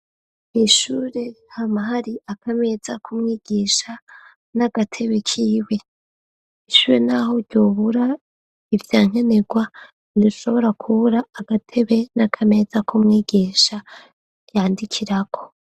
Mw'ishure hamahariho akameza kumwigisha n'agatebe k'iwe. Ishure n'aho ryobura ivyankenegwa ntirishobora kubura agatebe n'akameza k'umwigisha yandikirako.